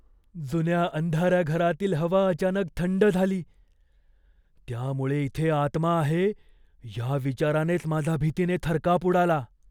जुन्या अंधाऱ्या घरातील हवा अचानक थंड झाली, त्यामुळे इथे आत्मा आहे या विचारानेच माझा भीतीने थरकाप उडाला.